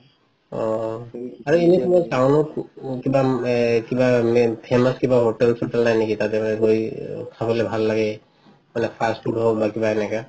অ এনে কিবা এ কিবা famous কিবা hotel চতেল নাই নেকি তাতে বা খাবলে ভাল লাগে বা fast food হওঁক বা কিবা এনেকা